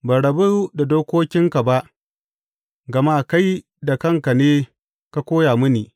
Ban rabu da dokokinka ba, gama kai da kanka ne ka koya mini.